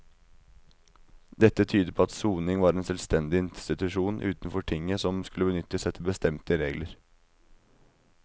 Dette tyder på at soning var en selvstendig institusjon utenfor tinget som skulle benyttes etter bestemte regler.